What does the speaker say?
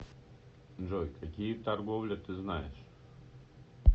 джой какие торговля ты знаешь